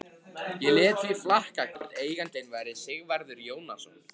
Ég lét því flakka hvort eigandinn væri Sigvarður Jónasson.